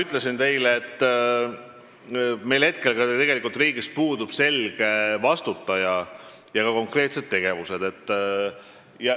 Nagu ma teile ütlesin, praegu meil puudub riigis selge vastutaja ja ka konkreetsed tegevused.